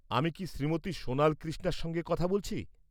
আমি কি শ্রীমতী সোনাল কৃষ্ণার সঙ্গে কথা বলছি?